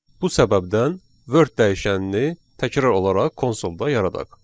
Bu səbəbdən Word dəyişənini təkrar olaraq konsolda yaradaq.